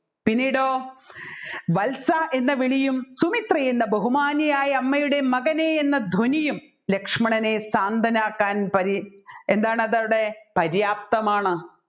പിന്നീടോ വത്സാ എന്ന വിളിയും സുമിത്രേ എന്ന ബഹുമാന്യയായ അമ്മയുടെ മകനെ എന്ന ധ്വനിയും ലക്ഷ്മണനെ സ്വന്തനാകാൻ പാരി എന്താണതവിടെ പരിയാപ്തമാണ്‌